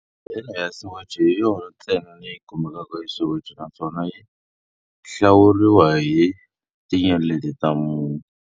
Hodela ya Soweto hi yona ntsena leyi kumekaka eSoweto, naswona yi hlawuriwa hi tinyeleti ta mune.